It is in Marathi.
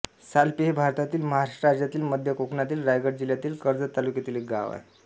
सालपे हे भारतातील महाराष्ट्र राज्यातील मध्य कोकणातील रायगड जिल्ह्यातील कर्जत तालुक्यातील एक गाव आहे